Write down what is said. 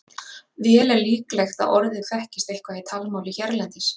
Vel er líklegt að orðið þekkist eitthvað í talmáli hérlendis.